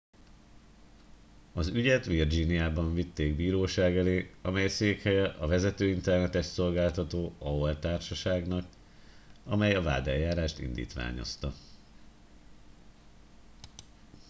"az ügyet virginiában vitték bíróság elé amely székhelye a vezető internetes szolgáltató "aol""-társaságnak amely a vádeljárást indítványozta.